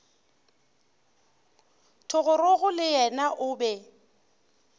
thogorogo le yena o be